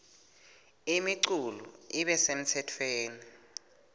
imiculu ibe semtsetfweni